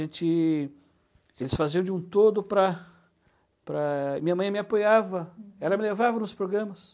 Eles faziam de um todo para para... Minha mãe me apoiava, ela me levava nos programas.